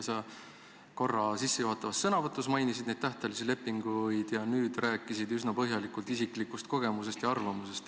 Sa korra sissejuhatavas sõnavõtus mainisid neid tähtajalisi lepinguid ning nüüd rääkisid üsna põhjalikult isiklikust kogemusest ja arvamusest.